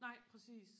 nej præcis